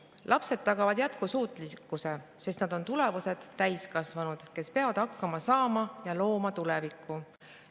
Lapsed tagavad jätkusuutlikkuse, sest nad on tulevased täiskasvanud, kes peavad hakkama saama ja looma tuleviku.